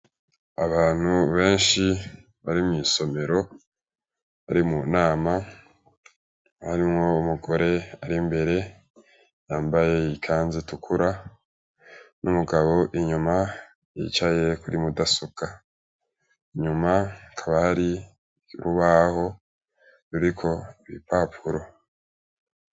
Abantu benshi bari mw'isomero bari munama harimwo umugore ar'imbere yambaye ikazu itukura n'umugabo inyuma yicaye kuri mudasobwa, inyuma hakaba hari urubaho ruriko ibipapuro